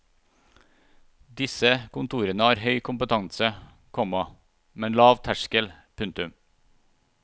Disse kontorene har høy kompetanse, komma men lav terskel. punktum